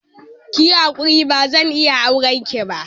Kiyi hakuri bazan iya aurenki ba.